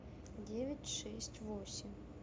девять шесть восемь